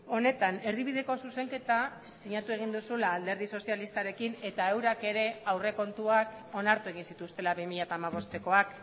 honetan erdibideko zuzenketa sinatu egin duzula alderdi sozialistarekin eta eurak ere aurrekontuak onartu egin zituztela bi mila hamabostekoak